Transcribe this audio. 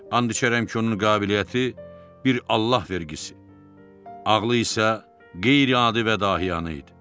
And içərəm ki, onun qabiliyyəti bir Allah vergisi, ağlı isə qeyri-adi və dahiyanə idi.